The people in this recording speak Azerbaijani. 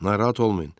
Narahat olmayın.